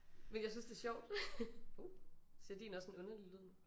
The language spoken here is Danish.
Men jeg synes det sjovt. Hov siger din også en underlig lyd?